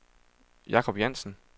Jakob Jansen